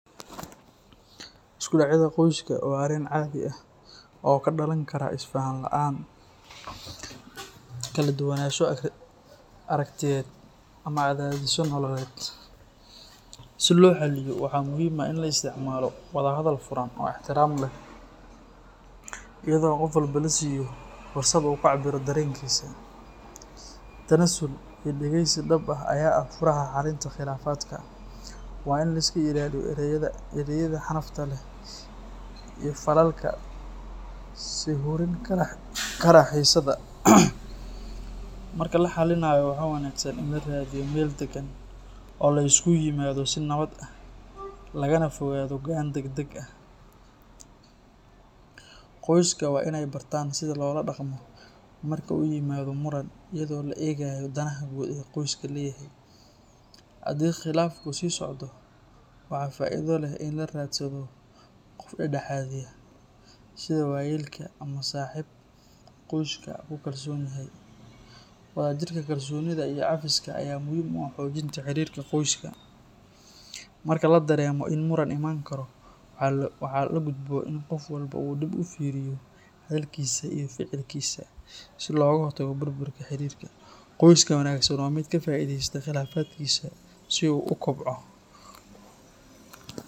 Iskudhacyada qoyska waa arrin caadi ah oo ka dhalan kara isfahan la’aan, kala duwanaansho aragtiyeed, ama cadaadisyo nololeed. Si loo xaliyo, waxaa muhiim ah in la isticmaalo wada hadal furan oo ixtiraam leh, iyadoo qof walba la siiyo fursad uu ku cabiro dareenkiisa. Tanaasul iyo dhageysi dhab ah ayaa ah furaha xalinta khilaafaadka. Waa in la iska ilaaliyo ereyada xanafta leh iyo falalka sii hurin kara xiisadda. Marka la xallinayo, waxaa wanaagsan in la raadiyo meel deggan oo la isugu yimaado si nabad ah, lagana fogaado go’aan degdeg ah. Qoyska waa in ay bartaan sida loola dhaqmo marka uu yimaado muran, iyadoo la eegayo danaha guud ee qoysku leeyahay. Haddii khilaafku sii socdo, waxaa faa’iido leh in la raadsado qof dhex-dhexaadiya, sida waayeelka ama saaxiib qoyska ku kalsoon yahay. Wadajirka, kalsoonida, iyo cafiska ayaa muhiim u ah xoojinta xiriirka qoyska. Marka la dareemo in muran iman karo, waxaa la gudboon in qof walba uu dib u fiiriyo hadalkiisa iyo ficilkiisa si looga hortago burburka xiriirka. Qoyska wanaagsan waa mid ka faa’iidaysta khilaafkiisa si uu u kobco